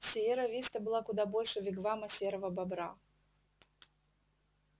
сиерра виста была куда больше вигвама серого бобра